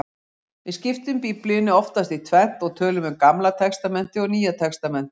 Við skiptum Biblíunni oftast í tvennt og tölum um Gamla testamentið og Nýja testamentið.